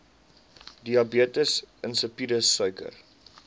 diabetes insipidus suiker